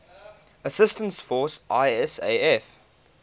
assistance force isaf